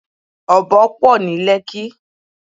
Ọ̀bọ pọ̀ ní Lẹ́kí.